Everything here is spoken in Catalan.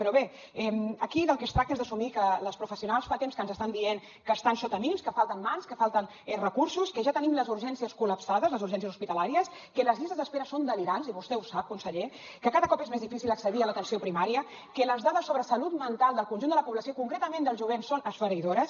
però bé aquí del que es tracta és d’assumir que les professionals fa temps que ens estan dient que estan sota mínims que falten mans que falten recursos que ja tenim les urgències col·lapsades les urgències hospitalàries que les llistes d’espera són delirants i vostè ho sap conseller que cada cop és més difícil accedir a l’atenció primària que les dades sobre salut mental del conjunt de la població i concretament del jovent són esfereïdores